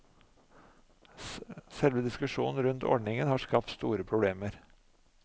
Selve diskusjonen rundt ordningen har skapt store problemer.